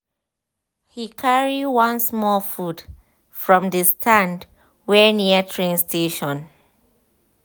he carry one small food from the stand wey near train station.